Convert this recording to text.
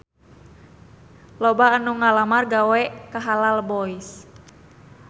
Loba anu ngalamar gawe ka Halal Boys